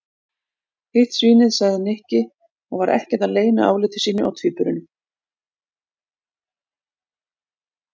Hitt svínið sagði Nikki og var ekkert að leyna áliti sínu á tvíburunum.